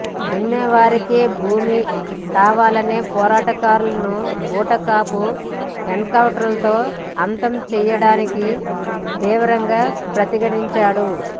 దున్నేవారికే భూమి కావాలనే పోరాటకారులను బూటకపు ఎన్కౌంటర్లతో అంతం చేయడాన్ని తీవ్రంగా ప్రతిఘటించాడు